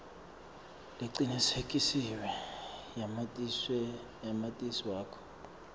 lecinisekisiwe yamatisi wakho